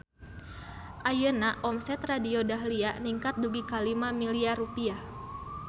Ayeuna omset Radio Dahlia ningkat dugi ka 5 miliar rupiah